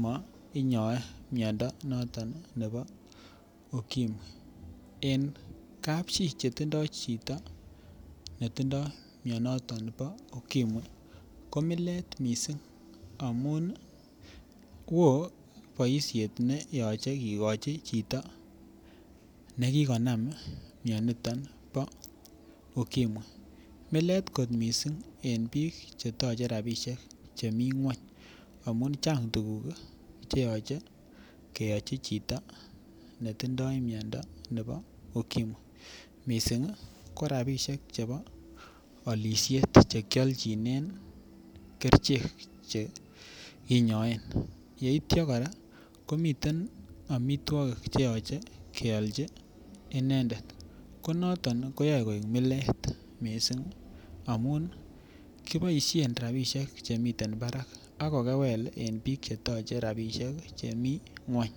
mo inyoe miondo noton nebo Ukimwi. En kapchii chetindo chito netindo mionoton bo Ukimwi ko milet missing' amun nii woo boishet neyoche kikochi chito nekokonam mioniton bo Ukimwi, milet kot missing' en bik cheyoche rabishek chemii ngwony amun cheang' tukuk cheyoche keyochi chito netindo miondo nebo Ukimwi missingi ko rabishek chebo olishet chekiochinen kerichek che kinyoen yeityo nkoraa komiten omitwokik cheyoche keolchi inendet ko noton koyoe koik milet missing' amun kiboishen rabishek chemiten barak ak kolewel en bik chetoche rabishek chemii ngwony.